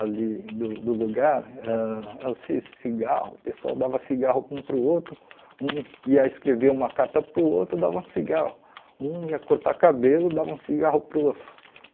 ali do do lugar, ãh era o ci cigarro, o pessoal dava cigarro um para o outro, um ia escrever uma carta para o outro, dava um cigarro, um ia cortar cabelo, dava um cigarro para o outro.